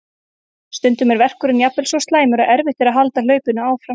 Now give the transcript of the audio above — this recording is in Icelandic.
Stundum er verkurinn jafnvel svo slæmur að erfitt er að halda hlaupinu áfram.